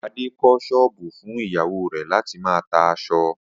Adé kó̩ s̩ó̩ò̩bù fún ìyàwó rè̩ láti máa ta as̩o̩